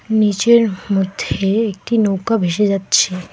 নীচের মধ্যে একটি নৌকা ভেসে যাচ্ছে।